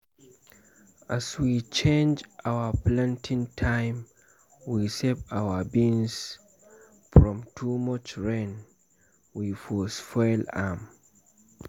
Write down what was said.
as we change our planting time we save our beans from too much rain wey for spoil am.